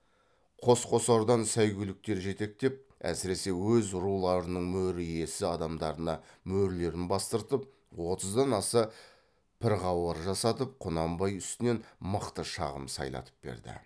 қос қосардан сәйгүліктер жетектеп әсіресе өз руларының мөр иесі адамдарына мөрлерін бастырып отыздан аса пірғауар жасатып құнанбай үстінен мықты шағым сайлатып берді